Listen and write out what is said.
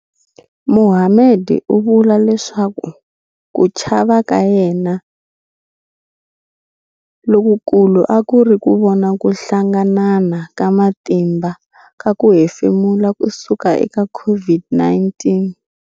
Mohammed u vula leswaku ku chava ka yena lokukulu a ku ri ku vona ku hlanganana ka matimba ka ku hefemula ku suka eka COVID-19.